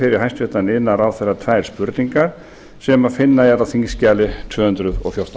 fyrir hæstvirtur iðnaðarráðherra tvær spurningar sem finna er á þingskjali tvö hundruð og fjórtán